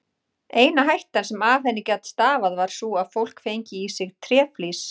Eina hættan sem af henni gat stafað var sú að fólk fengi í sig tréflís.